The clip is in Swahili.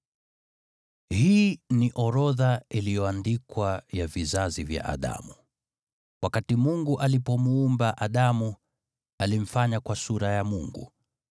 Hii ni orodha iliyoandikwa ya vizazi vya Adamu. Wakati Mungu alipomuumba Adamu, alimfanya kwa sura ya Mungu.